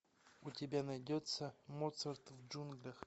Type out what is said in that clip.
у тебя найдется моцарт в джунглях